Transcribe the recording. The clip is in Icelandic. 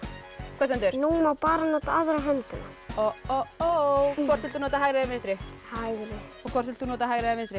hvað stendur núna á bara að nota aðra höndina hvort viltu nota hægri eða vinstri hægri hvort vilt þú nota hægri eða vinstri